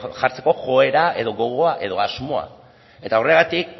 jartzeko joera gogoa edo asmoa eta horregatik